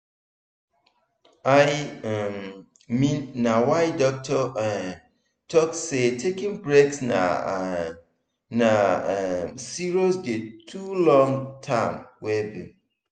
i um mean na my doctor um talk say taking breaks na um na um serious key to long term well being.